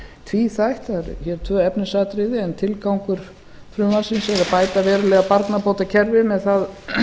tvíþætt það eru hér tvö efnisatriði en tilgangur frumvarpsins er að bæta verulega barnabótakerfið með það